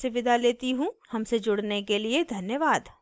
हमसे जुड़ने के लिए धन्यवाद